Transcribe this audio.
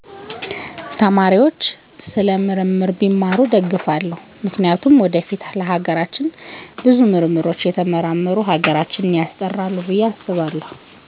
ስለ ምርምር ቢማሩ እደግፋለው ምክንያቱም ወደፊት ለሀገራችን ብዙ ምርምሮች እየተመራመሩ ሀገራተ ሀገራችን ያስጠራሉ